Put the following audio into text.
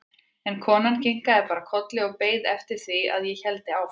En konan kinkaði bara kolli og beið eftir því að ég héldi áfram.